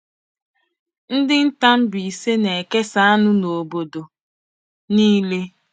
Ndị nta Mbaise na-ekesa anụ na obodo niile.